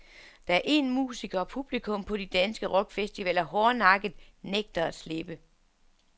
Der er én musiker, publikum på de danske rockfestivaler hårdnakket nægter at slippe.